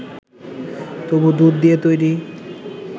তবে দুধ দিয়ে তৈরি